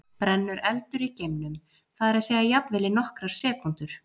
Brennur eldur í geimnum, það er að segja jafnvel í nokkrar sekúndur?